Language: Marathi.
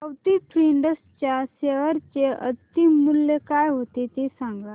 अवंती फीड्स च्या शेअर चे अंतिम मूल्य काय होते ते सांगा